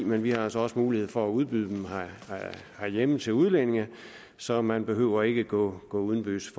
men vi har altså også mulighed for at udbyde dem herhjemme til udlændinge så man behøver ikke at gå udenbys